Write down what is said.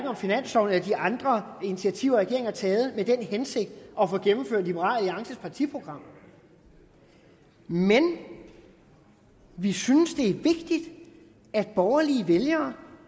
om finansloven eller de andre initiativer regeringen har taget med den hensigt at få gennemført liberal alliances partiprogram men vi synes det er vigtigt at borgerlige vælgere